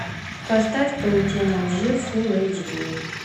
поставь паутина лжи фулл эйч ди